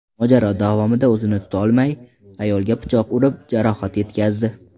Mojaro davomida o‘zini tutolmay, ayolga pichoq urib, jarohat yetkazdi.